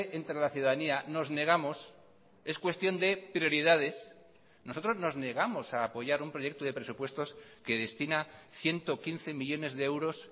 entre la ciudadanía nos negamos es cuestión de prioridades nosotros nos negamos a apoyar un proyecto de presupuestos que destina ciento quince millónes de euros